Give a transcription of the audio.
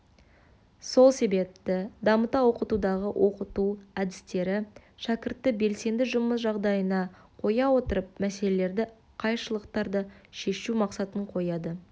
сол себепті дамыта оқытудағы оқыту әдістері шәкіртті белсенді жұмыс жағдайына қоя отырып мәселелерді қайшылықтарды шешу мақсатын қояды